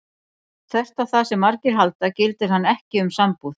Þvert á það sem margir halda gildir hann ekki um sambúð.